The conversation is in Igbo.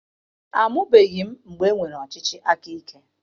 Amụbeghị m mgbe enwere ọchịchị akaike.